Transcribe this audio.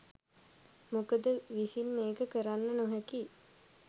මොකද විසින් මේක කරන්න නොහැකි